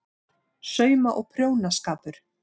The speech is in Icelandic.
SAUMA- OG PRJÓNASKAPUR